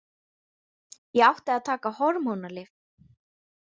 Ég átti að taka hormónalyf.